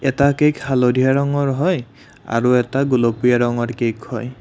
এটা কেক হালধীয়া ৰঙৰ হয় আৰু এটা গুলপীয়া ৰঙৰ কেক হয়।